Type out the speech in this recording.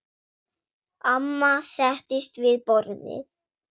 Amma settist við borðið.